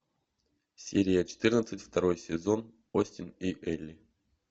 серия четырнадцать второй сезон остин и элли